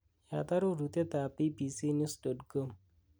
yaat arorutiet ab b.b.c news dot com